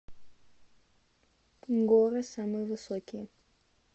горы самые высокие